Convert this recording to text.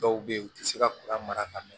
Dɔw bɛ yen u tɛ se ka kuran mara ka ɲɛ